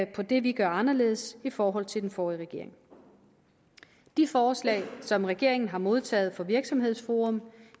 på det vi gør anderledes i forhold til den forrige regering de forslag som regeringen har modtaget fra virksomhedsforum